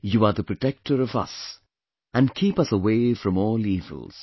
You are the protector of us and keep us away from all evils